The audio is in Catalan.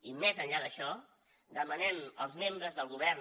i més enllà d’això demanem als membres del govern